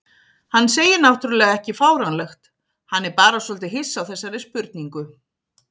Hann segir náttúrlega ekki fáránlegt, hann er bara svolítið hissa á þessari spurningu.